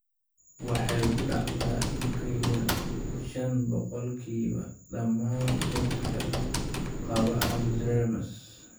Waxay ku dhacdaa in ka yar shaan boqolkiiba dhammaan dadka qaba Alzheimers.